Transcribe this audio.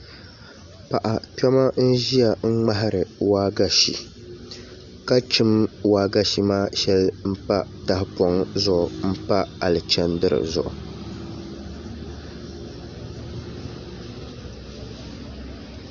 Paɣa kpɛm n ʒiya n ŋmahari waagashe ka chim waagashe maa shɛli pa tahapoŋ zuɣu n pa alichɛndiri zuɣu